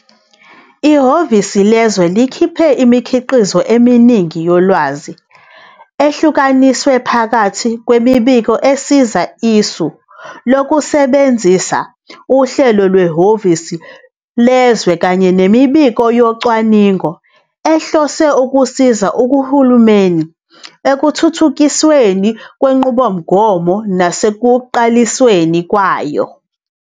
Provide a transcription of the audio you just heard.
Ihhovisi lezwe likhipha imikhiqizo eminingi yolwazi ehlukaniswe phakathi kwemibiko esiza isu lokusebenzisa uhlelo lwehhovisi lezwe kanye nemibiko yocwaningo ehlose ukusiza uhulumeni ekuthuthukisweni kwenqubomgomo nasekuqalisweni kwayo.